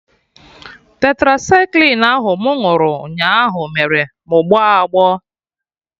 Tetracycline ahụ mụ ṅụrụ nyaa ahụ mere mụ gbọọ agbọ